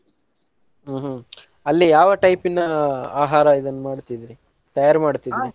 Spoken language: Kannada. ಹ್ಮ್ ಹ್ಮ್ ಅಲ್ಲಿ ಯಾವ type ನ ಆಹಾರ ಇದನ್ ಮಾಡ್ತಿದ್ರಿ? ತಯಾರ್ ಮಾಡ್ತಿದ್ರಿ?